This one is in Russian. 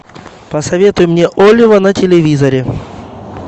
посоветуй мне олива на телевизоре